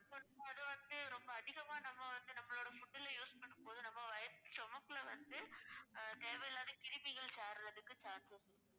அது வந்து ரொம்ப அதிகமா நம்ம வந்து நம்மளோட food ல use பண்ணும்போது நம்ம வ~ நம்ம stomach ல வந்து தேவையில்லாத கிருமிகள் சேர்றதுக்கு chance உண்டு